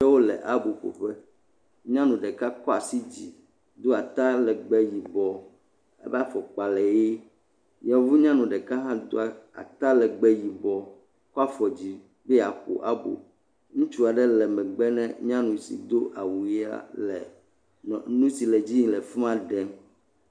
Ame aɖewo le aboƒoƒe. Nyɔnu ɖeka kɔ asi dzi do atalɛgbɛ yibɔ. Eƒe afɔkpa le ʋee. Yevu nyɔnu ɖeka hã do atalɛgbɛ yibɔ, kɔ afɔ dzi be yeaƒo abo. Ŋutsu aɖe le megbe ne nyanu si do awu ʋea le nu nu si le edzi yi le fi ma ɖem.